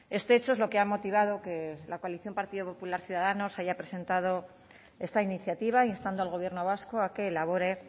este hecho es lo que ha motivado que la coalición partido popular ciudadanos haya presentado esta iniciativa instando al gobierno vasco a que elabore